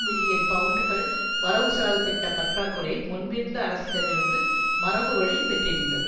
million பவுண்டுகள் வரவுசெலவுதிட்ட பற்றா குறையை முன்பிருந்த அரசிடமிருந்து மரபுவழி பெற்றிருந்தது